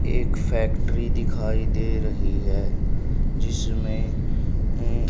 एक फैक्ट्री दिखाई दे रही है जिसमें अह--